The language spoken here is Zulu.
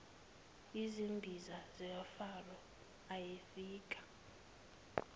yizimbiza zikafaro ayefika